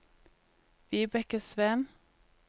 Vibeke Sveen